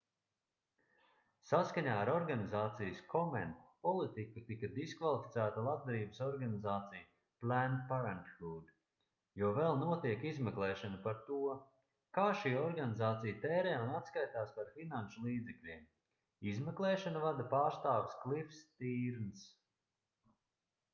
saskaņā ar organizācijas komen politiku tika diskvalificēta labdarības organizācija planned parenthood jo vēl notiek izmeklēšana par to kā šī organizācija tērē un atskaitās par finanšu līdzekļiem izmeklēšanu vada pārstāvis klifs stīrnss